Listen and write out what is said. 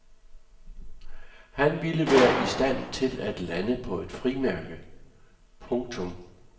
Han ville være i stand til at lande på et frimærke. punktum